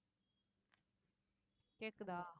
கேக்குதா